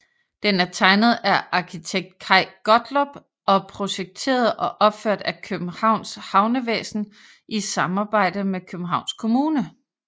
Den er tegnet af arkitekt Kaj Gottlob og projekteret og opført af Københavns Havnevæsen i samarbejde med Københavns Kommune